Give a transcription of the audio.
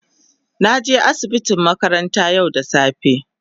na je asibiti makaranta yau da safe.